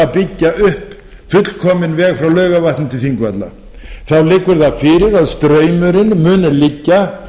byggja upp fullkominn veg frá laugarvatni til þingvalla þá liggur það fyrir að straumurinn mun liggja